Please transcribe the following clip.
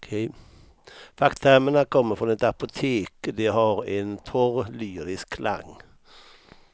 Facktermerna kommer från ett apotek, de har en torr lyrisk klang.